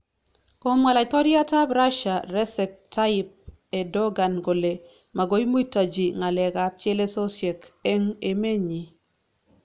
Komwa laitoryat ab Rasia Resep Tayyip Erdogan kole magoi muitaji ngalek ab chelesosyek eng emenyi